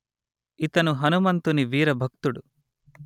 ఇతను హనుమంతుని వీర భక్తుడు